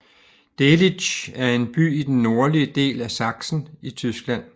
Delitzsch er en by i den nordlige del af Sachsen i Tyskland